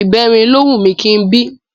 Ìbẹrin ló wù mí kí n bí